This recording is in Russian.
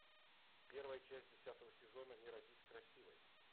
первая часть десятого сезона не родись красивой